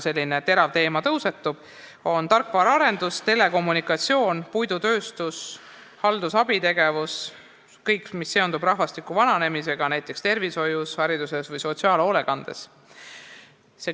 Selline terav teema tõusetub mitmes valdkonnas, milleks on tarkvaraarendus, telekommunikatsioon, puidutööstus, haldus- ja abitegevus – kõik see, mis seondub rahvastiku vananemisega näiteks tervishoius, hariduses või sotsiaalhoolekandes.